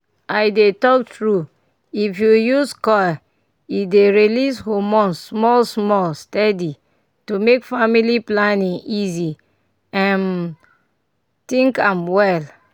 i dey talk true if you use coil e dey release hormone small-small steady to make family planning easy um think am well.